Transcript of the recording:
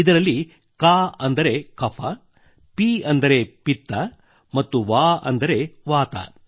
ಇದರಲ್ಲಿ ಕ ಅಂದರೆ ಕಫ ಪಿ ಅಂದರೆ ಪಿತ್ತ ಮತ್ತು ವಾ ಅಂದರೆ ವಾತಾ